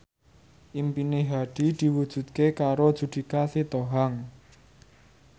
impine Hadi diwujudke karo Judika Sitohang